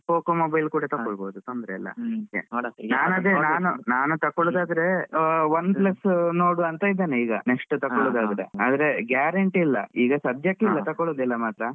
Poco mobile ಕೂಡ ತಕ್ಕೊಬೋದು ತೊಂದ್ರೆ ಇಲ್ಲ. ಹಾ ನಾನು ನಾನ್ ತಕೊಳ್ಳುದ್ದಾದ್ರೆ Oneplus ಎ ನೋಡುವ ಅಂತ ಇದೇನೆ. next ಈಗ next ತಗೋಳೋದಾದ್ರೆ. ಆದ್ರೆ guarantee ಇಲ್ಲ ಈಗ ಸದ್ಯಕೆ ತಗೋಳೋದಿಲ್ಲ ಮಾತ್ರ.